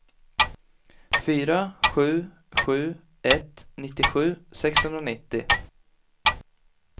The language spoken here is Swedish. fyra sju sju ett nittiosju sexhundranittio